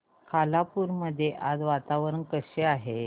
खालापूर मध्ये आज वातावरण कसे आहे